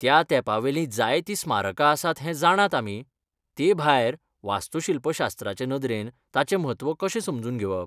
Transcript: त्या तेंपावेलीं जायतीं स्मारकां आसात हें जाणात आमी, ते भायर, वास्तूशिल्पशास्त्राचे नदरेन तांचें म्हत्व कशें समजून घेवप?